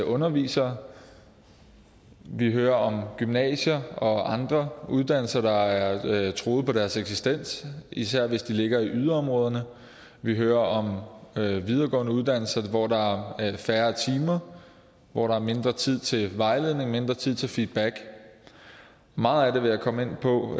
undervisere vi hører om gymnasier og andre uddannelser der er truet på deres eksistens især hvis de ligger i yderområderne vi hører om videregående uddannelser hvor der er færre timer og hvor der er mindre tid til vejledning og mindre tid til feedback meget af det vil jeg komme ind på